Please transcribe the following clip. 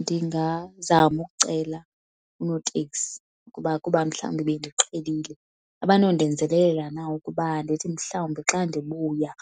Ndingazama ukucela unoteksi kuba kuba mhlawumbi bendiqhelile abanondenzelelela na ukuba ndithi mhlawumbi xa ndibuya